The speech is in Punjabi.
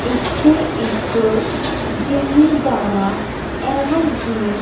ਇੱਥੇ ਇੱਕ ਜਿਮੀਦਾਰਾ ਐਵਰ ਗਰੀਨ --